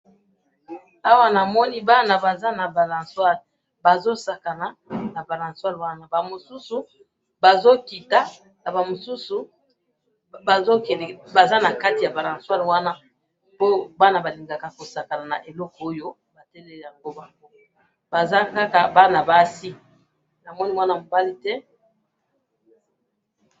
Awa namoni bana Baza na balancoire, bazosakana na balancoire wana, bamususu bazokita, nabamususu bazokende, baza nakati yabalancoire wana, po bana balingaka kosakana na eloko oyo, bateleli yango bango, bazakaka bana basi, namoni mwana mobali te!